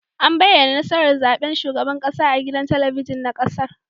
An bayyana nasarar zaben shugaban kasa a gidan talabijin na kasar